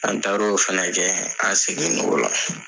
An taar o fana kɛ an seginn'o la fana.